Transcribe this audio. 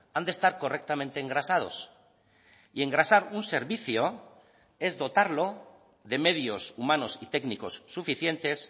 han de estar correctamente engrasados y engrasar un servicio es dotarlo de medios humanos y técnicos suficientes